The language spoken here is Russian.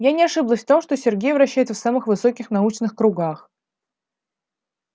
я не ошиблась в том что сергей вращается в самых высоких научных кругах